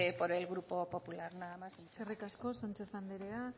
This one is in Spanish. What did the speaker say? por el grupo popular nada más y muchas gracias eskerrik asko sánchez anderea